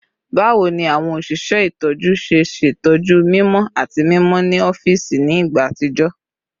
Bawo ni awọn oṣiṣẹ itọju ṣe ṣetọju mimọ ati mimọ ni awọn ọfiisi ni igba atijọ?